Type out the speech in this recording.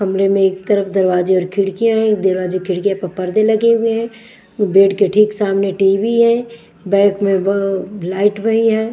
कमरे में एक तरफ दरवाजे और खिड़कियां हैं एक दरवाजे खिड़कियां प पर्दे लगे हुए हैं बेड के ठीक सामने टी_वी है बैक में ब लाइट भई है।